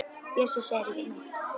Bjössi segir ekki neitt.